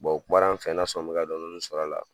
u kumanan n fɛ n'a sɔrɔ n bɛ ka dɔɔni dɔɔni sɔrɔ la.